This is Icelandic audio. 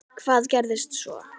Hvað gerðist svo!?